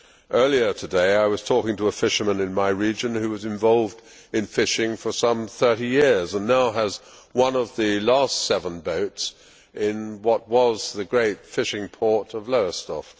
Earlier today I was talking to a fisherman in my region who has been involved in fishing for some thirty years and now has one of the last seven boats in what was the great fishing port of Lowestoft.